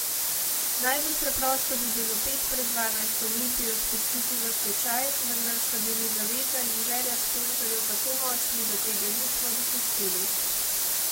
Najbolj preprosto bi bilo pet pred dvanajsto Olimpijo spustiti v stečaj, vendar sta bili zaveza in želja sponzorjev tako močni, da tega nismo dopustili.